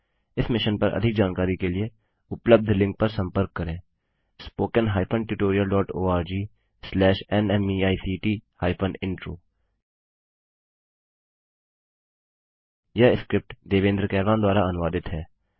इस मिशन पर अधिक जानकारी के लिए उपलब्ध लिंक पर संपर्क करें httpspoken tutorialorgNMEICT Intro यह स्क्रिप्ट देवेन्द्र कैरवान द्वारा अनुवादित है